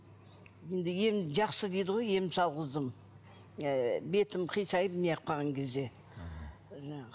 енді ем жақсы дейді ғой ем салғыздым ы бетім қисайып не қылып қалған кезде